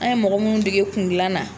An ye mɔgɔ munnu dege kun gilan na